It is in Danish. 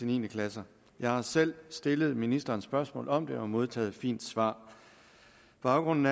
ni klasse jeg har selv stillet ministeren et spørgsmål om det og har modtaget et fint svar baggrunden